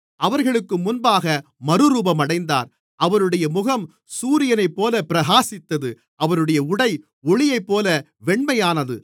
அவர்களுக்கு முன்பாக மறுரூபமடைந்தார் அவருடைய முகம் சூரியனைப்போலப் பிரகாசித்தது அவருடைய உடை ஒளியைப்போல வெண்மையானது